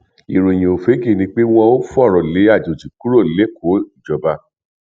ìròyìn òfegè ni pé wọn ò fọrọ lé àjòjì kúrò lẹkọ o ìjọba